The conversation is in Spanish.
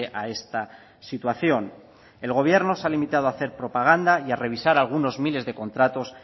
a esta situación el gobierno se ha limitado a hacer propaganda y a revisar algunos miles de contratos